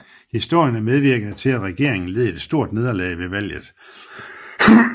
Historien medvirkede til at regeringen led et stort nederlag ved valget